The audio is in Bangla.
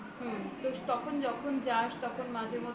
তো তখন যখন যাস তখন মাঝেমধ্যে